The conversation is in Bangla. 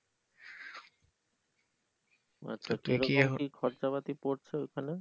আচ্ছা কিরকম খরচা পাতি পরছে ওখানে?